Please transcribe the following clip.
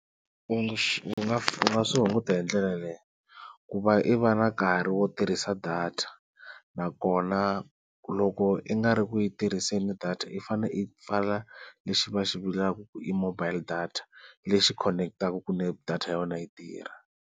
U nga u nga swi hunguta hi ndlela leyi ku va i va na nkarhi wo tirhisa data, nakona loko i nga ri ku yi tirhiseni data i fanele i pfala lexi va xivulaka ku i mobile data lexi khonekitaku ku data ya wena yi tirha.